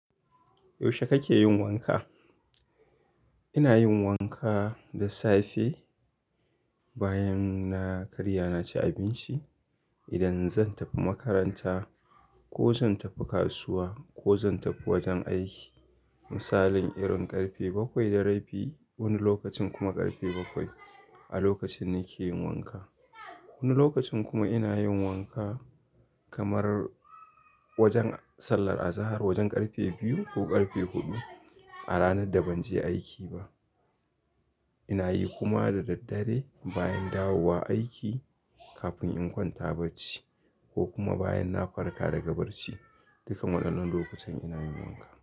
Yaushe kake yin wanka? Ina yin wanka da safe bayan na karya naci abinci. Idan zan tafi makaranta ko zan tafi kasuwa ko zan tafi wajen aiki. Misalin irin ƙarfe bakwai da rabi. Wani lokacin kuma ƙarfe bakwai, a lokacin nake yin wanka. Wani lokacin kuma ina yin wanka kamar wajen sallar azahar. Wajen ƙarfe biyu ko ƙarfe huɗu a ranar da ban je aiki ba. Ina yi kuma da daddare bayan dawowa aiki kafin in kwanta bacci ko kuma bayan na farka daga bacci. Duka waɗannan lokutan ina yin wanka.